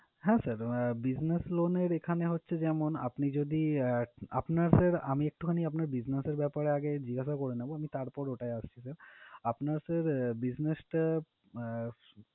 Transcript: হ্যাঁ sir business loan এর এখানে হচ্ছে যেমন, আপনি যদি আহ আপনার sir আমি একটু খানি আপনার business এর ব্যাপারে আগে জিজ্ঞাসা করে নিবো আমি তারপর ওটায় আসছি sir । আপনার sir business টা আহ